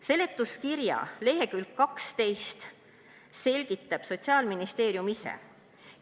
Seletuskirja leheküljel 12 selgitab Sotsiaalministeerium ise: "...